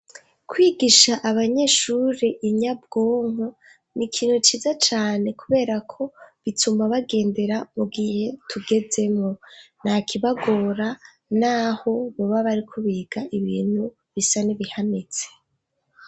Kwigisha abanyeshure inyabwonko ni ikintu ciza cane kubera ko bituma bagendera ku gihe tugezemwo. Nta kibagora naho baba bariko biga ibintu bisa n'ibihanitse.